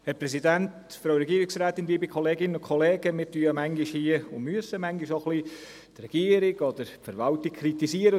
Wir kritisieren ja manchmal oder müssen manchmal die Regierung oder die Verwaltung kritisieren.